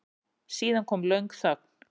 Síðan kom löng þögn.